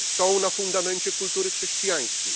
są na fundamencie kultury chrześcijańskiej.